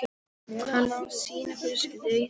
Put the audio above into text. Hann á sína fjölskyldu í þeim.